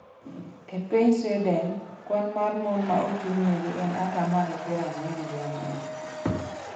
E piny Sweden, kwan mar mon ma ochung’negi en atamalo piero ang'wen giang'wen.